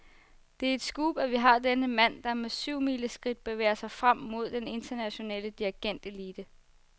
Det er et scoop, at vi har denne mand, der med syvmileskridt bevæger sig frem mod den internationale dirigentelite.